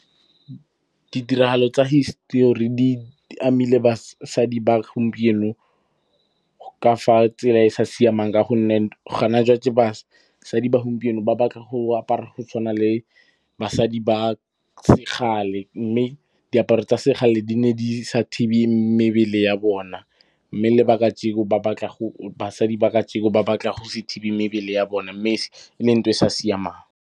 Ditiragalo tsa hisetori di amile basadi ba gompieno ka fa tsela e e sa siamang ka gonne basadi ba gompieno ba batla go apara go tshwana le basadi ba sekgale, mme diaparo tsa sekgale di ne di sa thibe mebele ya bona, mme le ba kajeko , basadi ba kajeko ba batla go se thibe mebele ya bona mme se, e le ntho e sa siamang.